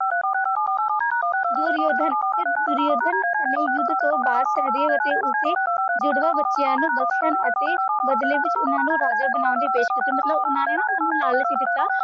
ਦੁਰਯੋਧਨ ਤੇ ਦੁਰਯੋਧਨ ਨੇ ਯੁੱਧ ਤੋਂ ਬਾਅਦ ਸਹਿਦੇਵ ਅਤੇ ਉਸਦੇ ਜੁੜਵਾਂ ਬੱਚਿਆਂ ਨੂੰ ਬਖਸ਼ਣ ਅਤੇ ਬਦਲੇ ਵਿੱਚ ਉਨ੍ਹਾਂ ਨੂੰ ਰਾਜਾ ਬਣਾਉਣ ਦੀ ਪੇਸ਼ਕਸ਼ ਕੀਤੀ ਮਤਲਬ ਉਨ੍ਹਾਂ ਨੇ ਨਾ ਉਨ੍ਹਾਂ ਨੂੰ ਲਾਲਚ ਦਿੱਤਾ